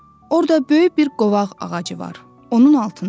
Orda böyük bir qovaq ağacı var, onun altında.